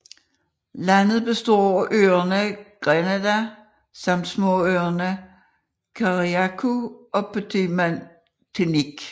Landet består af øerne Grenada samt småøerne Carriacou og Petite Martinique